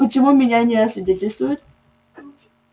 почему меня не освидетельствуют